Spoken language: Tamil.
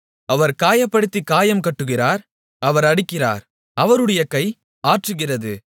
அவர் காயப்படுத்திக் காயம் கட்டுகிறார் அவர் அடிக்கிறார் அவருடைய கை ஆற்றுகிறது